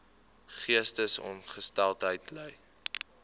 geestesongesteldheid ly